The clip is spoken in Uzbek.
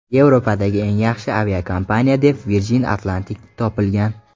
Yevropadagi eng yaxshi aviakompaniya deb Virgin Atlantic topilgan.